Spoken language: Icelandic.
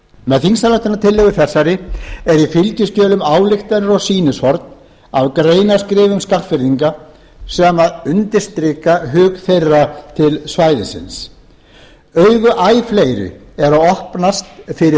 með þingsályktunartillögu þessari eru í fylgiskjölum ályktanir og sýnishorn af greinaskrifum skagfirðinga sem undirstrika hug þeirra til svæðisins augu æ fleiri eru að opnast fyrir